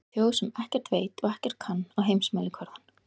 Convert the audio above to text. Þjóð sem ekkert veit og ekkert kann á heimsmælikvarðann.